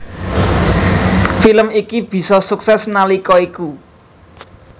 Film iki bisa sukses nalika iku